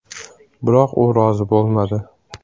Biroq u rozi bo‘lmadi.